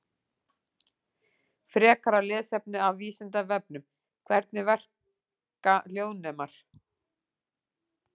Frekara lesefni af Vísindavefnum: Hvernig verka hljóðnemar?